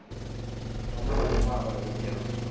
thoma go lemoga gore bophelo